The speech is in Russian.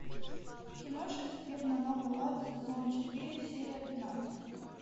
кино шекспир на новый лад сезон четыре серия тринадцать